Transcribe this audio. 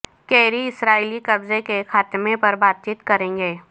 carry اسرائیلی قبضے کے خاتمے پر بات چیت کریں گے